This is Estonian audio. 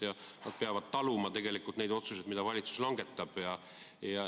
Ja nad peavad taluma tegelikult neid otsuseid, mida valitsus langetab.